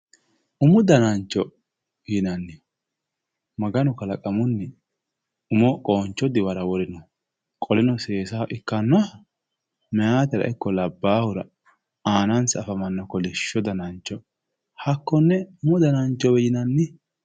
Umu danancho yinanni, dmaganu kalaqamunni umo danancho qooncho diwara kalaqino meyaatera ikko labbahura aanansa afammannoha kolishsho danancho hakkonne umu dananchowe yinannni.